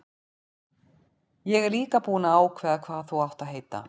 Ég er líka búinn að ákveða hvað þú átt að heita.